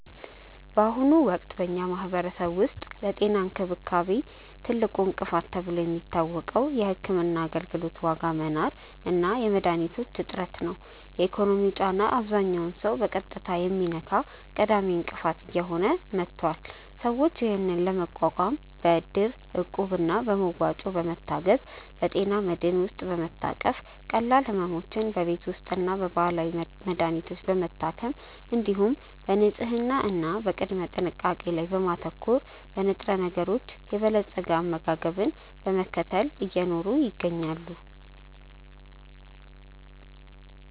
በአሁኑ ወቅት በኛ ማህበረሰብ ውስጥ ለጤና እንክብካቤ ትልቁ እንቅፋት ተብሎ የሚታወቀው የሕክምና አገልግሎት ዋጋ መናር እና የመድኃኒቶች እጥረት ነው። የኢኮኖሚው ጫና አብዛኛውን ሰው በቀጥታ የሚነካ ቀዳሚ እንቅፋት እየሆነ መጥቷል። ሰዎች ይህንን ለመቋቋም በእድር፣ እቁብ እና በመዋጮ በመታገዝ፣ በጤና መድህን ውስጥ በመታቀፍ፣ ቀላል ሕመሞችን በቤት ውስጥና በባህላዊ መድሀኒቶች በመታከም፣ እንዲሁም በንጽህና እና በቅድመ ጥንቃቄ ላይ በማተኮር፣ በንጥረነገሮች የበለፀገ አመጋገብን በመከተል እየኖሩ ይገኛሉ።